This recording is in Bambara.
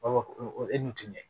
e dun ti ɲɛ